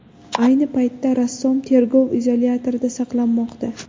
Ayni paytda rassom tergov izolyatorida saqlanmoqda.